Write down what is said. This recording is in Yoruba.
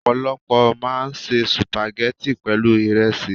Ọ̀pọ̀lọpọ̀ máa ń se Sùpàgẹ́tì pẹ̀lú ìresí.